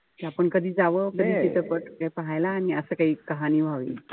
कि आपण कधी जावं. तो चित्रपट पाहायला आणि असं काई कहाणी व्हावी.